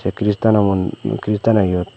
ei kristaano mon kristaano iyot.